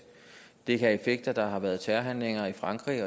det kan have en effekt at der har været terrorhandlinger i frankrig